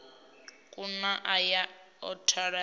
kuna a ya a tholiwa